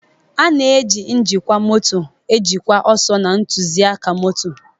A na-eji njikwa moto ejikwa ọsọ na ntụzịaka moto.